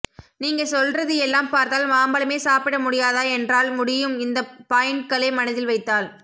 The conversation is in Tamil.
நீங்க சொல்றது எல்லாம் பார்த்தால் மாம்பழமே சாப்பிட முடியாதா என்றால் முடியும் இந்த பாயின்ட்களை மனதில் வைத்தால்